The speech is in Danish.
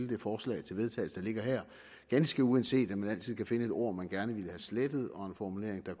det forslag til vedtagelse der ligger her ganske uanset at man altid kan finde et ord som man gerne ville have slettet og en formulering der